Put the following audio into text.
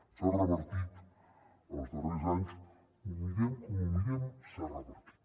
s’ha revertit els darrers anys ho mirem com ho mirem s’ha revertit